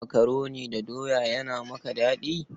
Makaroni da doya yana maka daɗi?